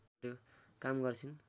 काम गर्छिन्